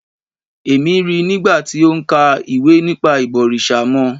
Èmi ríi nigba ti o ń ka ìwé nípa ìbọ̀rìṣà mọ́